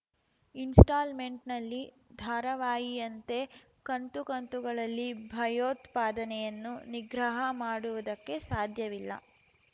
ಇನ್‌ಸ್ಟಾಲ್‌ಮೆಂಟ್‌ನಲ್ಲಿ ಧಾರಾವಾಹಿಯಂತೆ ಕಂತು ಕಂತುಗಳಲ್ಲಿ ಭಯೋತ್ಪಾದನೆಯನ್ನು ನಿಗ್ರಹ ಮಾಡುವುದಕ್ಕೆ ಸಾಧ್ಯವಿಲ್ಲ